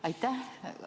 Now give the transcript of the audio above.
Aitäh!